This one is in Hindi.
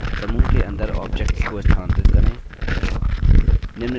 समूह के अंदर objects को स्थानांतरित करें